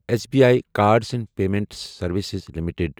S B I cards and payment services limited